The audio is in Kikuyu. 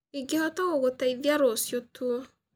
Ingĩhota gũgũteithia rũciũ tu